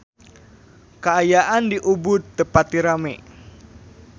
Kaayaan di Ubud teu pati rame